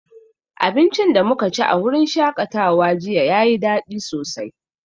Abincin da muka ci a wurin shakatawa jiya yayi dadi sosai